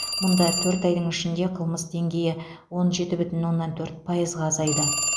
мұнда төрт айдың ішінде қылмыс деңгейі он жеті бүтін оннан төрт пайызға азайды